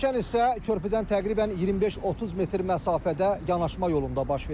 Çökən hissə körpüdən təqribən 25-30 metr məsafədə yanaşma yolunda baş verib.